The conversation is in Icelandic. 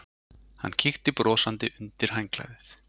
Hann kíkti brosandi undir handklæðið.